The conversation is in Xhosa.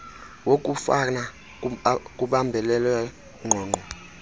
wokufana kubambelelwe ngqongqo